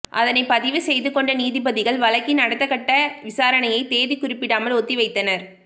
அதனைப் பதிவு செய்து கொண்ட நீதிபதிகள் வழக்கின் அடுத்தகட்ட விசாரணையை தேதி குறிப்பிடாமல் ஒத்திவைத்தனர்